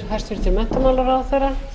ráðstafað